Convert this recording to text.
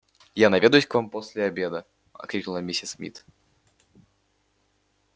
я наведаюсь к вам после обеда крикнула миссис мид